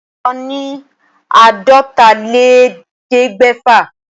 Òǹkà ní àádọ́tálélẹ́ẹ̀ẹ́dẹ́gbẹ́fà.